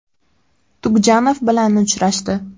Tugjanov bilan uchrashdi.